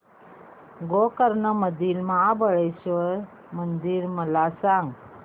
गोकर्ण मधील महाबलेश्वर मंदिर मला सांग